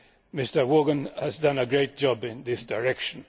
Mr Vaughan has done a great job in this direction.